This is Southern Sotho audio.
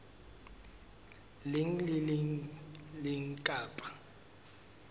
leng le le leng kapa